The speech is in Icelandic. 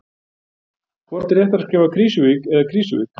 Hvort er réttara að skrifa Krýsuvík eða Krísuvík?